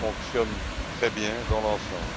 fonctionne très bien dans l'ensemble.